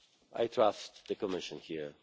I trust the Commission here.